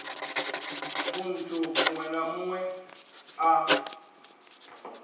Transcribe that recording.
munthu muṅwe na muṅwe a